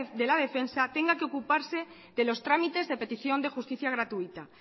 de la defensa tenga que ocuparse de los tramites de petición de justicia gratuita